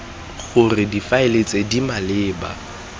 gore difaele tse di maleba